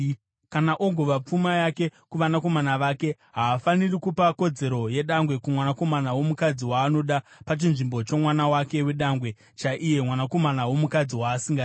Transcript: kana ogova pfuma yake kuvanakomana vake, haafaniri kupa kodzero yedangwe kumwanakomana womukadzi waanoda pachinzvimbo chomwana wake wedangwe chaiye, mwanakomana womukadzi waasingadi.